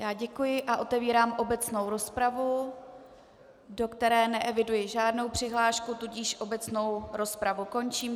Já děkuji a otevírám obecnou rozpravu, do které neeviduji žádnou přihlášku, tudíž obecnou rozpravu končím.